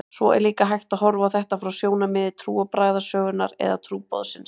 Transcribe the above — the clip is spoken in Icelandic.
Svo er líka hægt að horfa á þetta frá sjónarmiði trúarbragðasögunnar eða trúboðsins.